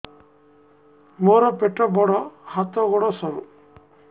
ମୋର ପେଟ ବଡ ହାତ ଗୋଡ ସରୁ